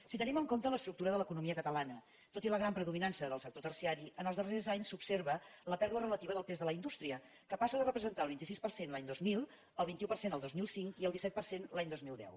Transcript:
si tenim en compte l’estructura de l’economia catalana tot i la gran predominança del sector terciari en els darrers anys s’observa la pèrdua relativa del pes de la indústria que passa de representar el vint sis per cent l’any dos mil el vint un per cent el dos mil cinc i el disset per cent l’any dos mil deu